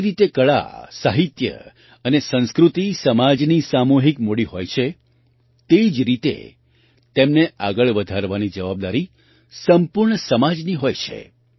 જે રીતે કળા સાહિત્ય અને સંસ્કૃતિ સમાજની સામૂહિક મૂડી હોય છે તે જ રીતે તેમને આગળ વધારવાની જવાબદારી સંપૂર્ણ સમાજની હોય છે